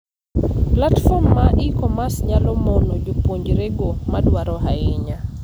Platform mar e-commerce nyalo mono jopuonjre go madwaro ahinya.